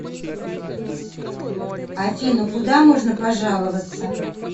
афина куда можно пожаловаться